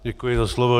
Děkuji za slovo.